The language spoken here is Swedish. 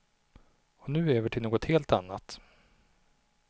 Och nu över till något helt annat.